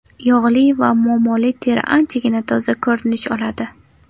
Yog‘li va muammoli teri anchagina toza ko‘rinish oladi.